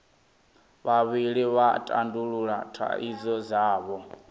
vhavhili vha tandulula thaidzo dzavho